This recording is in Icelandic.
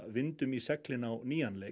vindi í seglin á nýjan leik